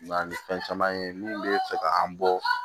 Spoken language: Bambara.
Na ni fɛn caman ye min bɛ fɛ ka an bɔ